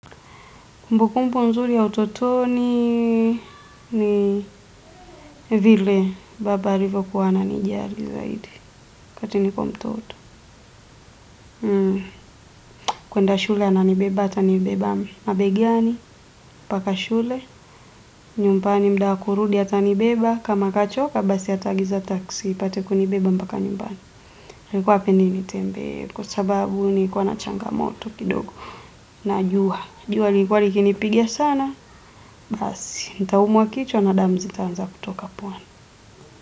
Kumbukumbu nzuri ya utotoni ni vile baba alivokuwa ananijali zaidi wakati niko mtoto. Kuenda shule ananibeba ata nibeba mabegani, mpaka shule, nyumbani mda wa kurudi atanibeba, kama kachoka basi ataagiza taksi, ipate kunibeba mpaka nyumbani. Alikuwa hapendi nitembee kwa sababu nilikuwa na changamoto kidogo na jua, jua lilikuwa likinipiga sana basi, nitaumwa kichwa na damu zitaanza kutoka puani.